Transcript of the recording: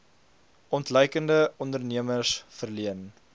ontluikende ondernemers verleen